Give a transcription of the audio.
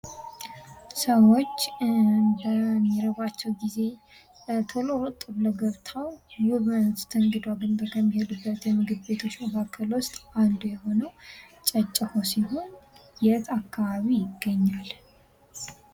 ሰዎች በሚርባቸው ጊዜ ተሎ ገብተው የመስተግዶ አገልግሎት አገልግሎት ከሚያገኙበት ውስጥ አንዱ የሆነው ጨጨሆ ሲሆን የት አካባቢ ይገኛል?